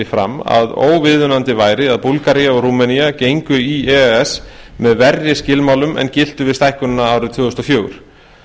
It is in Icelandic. fram að óviðunandi væri að búlgaría og rúmenía gengju í e e s með verri skilmálum en giltu við stækkunina árið tvö þúsund og fjögur